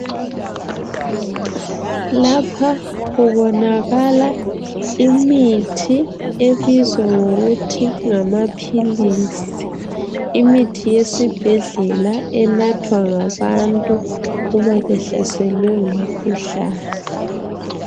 Lapha kubonakala imithi ebizwa ngokuthi ngamaphilisi. Imithi yesibhedlela enathwa ngabantu uma behlaselwe ngumkhuhlane.